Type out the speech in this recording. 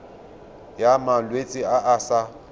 ya malwetse a a sa